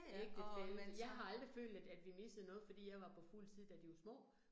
Ægtefælle, jeg har aldrig følt, at at vi missede noget fordi jeg var på fuldtid, da de var små